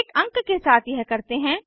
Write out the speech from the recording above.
एक अंक के साथ यह करते हैं